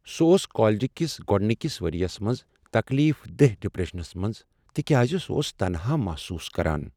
سہ اوس کالج کس گۄڈنیکس ؤرۍ یس منٛز تکلیف دہ ڈپریشنس منٛز تکیاز سہ اوس تنہا محسوس کران۔